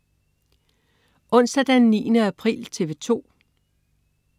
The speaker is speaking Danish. Onsdag den 9. april - TV 2: